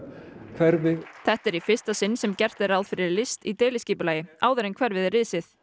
hverfi þetta er í fyrsta sinn sem gert er ráð fyrir list í deiliskipulagi áður en hverfið er risið